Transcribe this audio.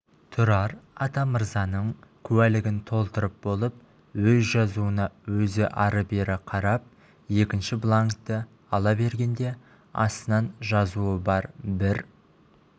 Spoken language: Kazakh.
тұрар атамырзаның куәлігін толтырып болып өз жазуына өзі ары-бері қарап екінші бланкті ала бергенде астынан жазуы бар бір